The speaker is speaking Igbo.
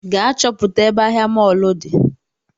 Gaa chọpụta ebe ahịa mọlụ di